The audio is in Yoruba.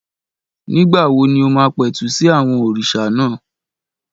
Nígbà wo ni o máa pẹ̀tù sí àwọn òrìṣà náà?